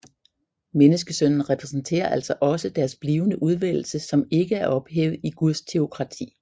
Menneskesønnen repræsenterer altså også deres blivende udvælgelse som ikke er ophævet i Guds teokrati